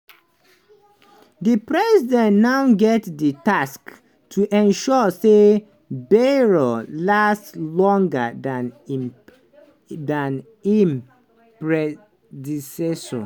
di president now get di task to ensure say bayrou last longer dan im predecessor.